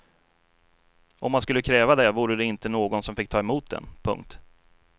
Om man skulle kräva det vore det inte någon som fick ta emot den. punkt